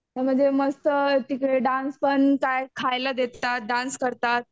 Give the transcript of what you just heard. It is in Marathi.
म्हणजे मस्त तिकडे डान्स पण काय खायला देतात डान्स करतात.